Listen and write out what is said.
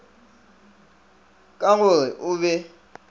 ka go re o be